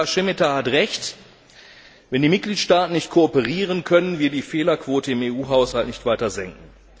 Kommissar Šemeta hat recht Wenn die Mitgliedstaaten nicht kooperieren, können wir die Fehlerquote im EU Haushalt nicht weiter senken.